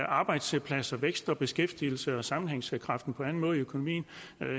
arbejdspladser vækst og beskæftigelse og sammenhængskraft i økonomien